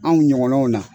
Anw ɲɔgɔnnaw na